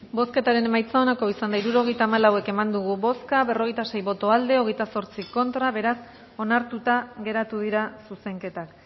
bozketaren emaitza onako izan da hirurogeita hamalau eman dugu bozka berrogeita sei boto aldekoa veintiocho contra beraz onartuta geratu dira zuzenketak